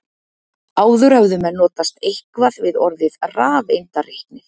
Áður höfðu menn notast eitthvað við orðið rafeindareiknir.